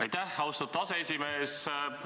Aitäh, austatud aseesimees!